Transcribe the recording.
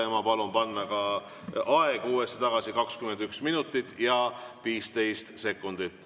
Ja ma palun panna ka aeg uuesti tagasi, 21 minutit ja 15 sekundit.